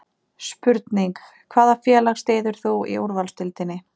Spurning: Hvaða félag styður þú í Úrvalsdeildinni?